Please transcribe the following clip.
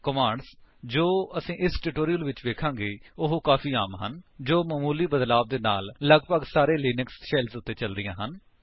commands ਜੋ ਅਸੀ ਇਸ ਟਿਊਟੋਰਿਅਲ ਵਿੱਚ ਵੇਖਾਂਗੇ ਉਹ ਕਾਫ਼ੀ ਆਮ ਹਨ ਅਤੇ ਜੋ ਮਾਮੂਲੀ ਬਦਲਾਵ ਦੇ ਨਾਲ ਲਗਭਗ ਸਾਰੇ ਲਿਨਕਸ ਸ਼ੈਲਸ ਉੱਤੇ ਚੱਲਦੀਆਂ ਹਨ